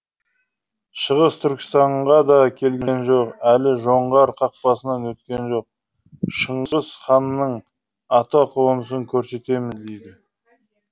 шығыс түркістанға да келген жоқ әлі жоңғар қақпасынан өткен жоқ шыңғыс ханның атақонысын көрсетеміз дейді